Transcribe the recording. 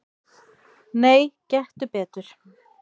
"""Nei, gettu betur"""